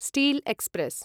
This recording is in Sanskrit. steel express